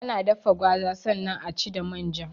Ana dafa gwaza sannan aci da manja